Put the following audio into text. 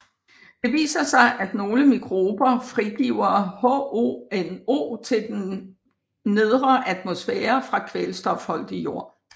Det viser sig at nogle mikrober frigiver HONO til den nedre atmosfære fra kvælstofholdig jord